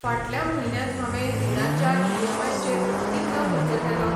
फाटल्या म्हयन्यांत हांवें रिणाच्या ईएमआयचेर कितलो खर्च केलो?